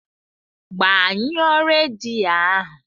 Gbanyụọ redio ahu!